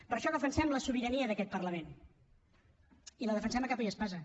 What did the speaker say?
per això defensem la sobirania d’aquest parlament i la defensem a capa i espasa